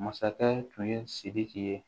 Masakɛ tun ye sidiki ye